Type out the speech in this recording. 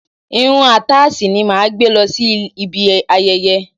Irun àtáàsì ni màá gbé lọ sí ibi ayẹyẹ.